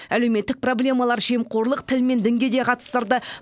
әлеуметтік проблемалар жемқорлық тіл мен дінге де қатыстырды